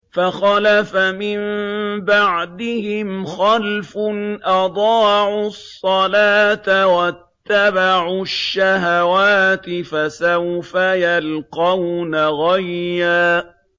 ۞ فَخَلَفَ مِن بَعْدِهِمْ خَلْفٌ أَضَاعُوا الصَّلَاةَ وَاتَّبَعُوا الشَّهَوَاتِ ۖ فَسَوْفَ يَلْقَوْنَ غَيًّا